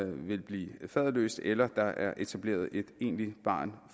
vil blive faderløst eller der er etableret et egentligt barn